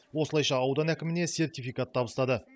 осылайша аудан әкіміне сертификат табыстады